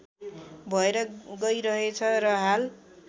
भएर गइरहेछ र हाल